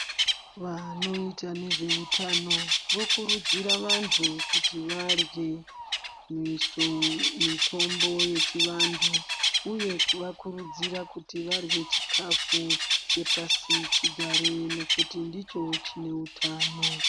Vanoita nezveutano ,vokurudzira vantu kuti varye misho mitombo yechivantu ,uye kuvakurudzira ,kuti varye chikhafu chepasichigare, nokuti ndicho chine utano.